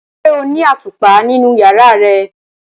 Ṣe o ni atupa ninu yara rẹ?